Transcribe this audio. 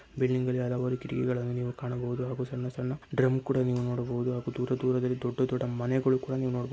building ಲ್ಲಿ ಹಲವಾರು ಕಿಟಕಿಗಳನ್ನು ನೀವು ಕಾಣಬಹುದು ಹಾಗೂ ಸಣ್ಣ ಸಣ್ಣ ಡ್ರಮ್‌ ಕೂಡ ನೀವು ನೋಡಬಹುದು ಹಾಗೂ ದೂರ ದೂರದಲ್ಲಿ ದೊಡ್ಡ ದೊಡ್ಡ ಮನೆಗಳು ಕೂಡ ನೀವು ನೋಡಬ --